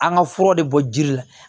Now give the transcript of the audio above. An ka furaw de bɔ jiri la